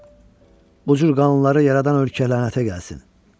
Bu cür qanunları yaradan ölkə lənətə gəlsin.